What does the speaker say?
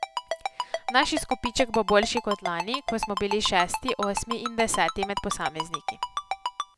Naš izkupiček bo boljši kot lani, ko smo bili šesti, osmi in deseti med posamezniki.